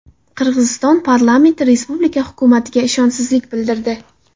Qirg‘iziston parlamenti respublika hukumatiga ishonchsizlik bildirdi.